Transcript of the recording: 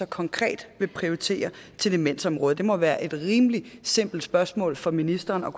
konkret vil prioritere til demensområdet det må være et rimelig simpelt spørgsmål for ministeren at